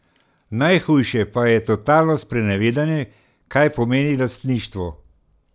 Najhujše pa je totalno sprenevedanje, kaj pomeni lastništvo.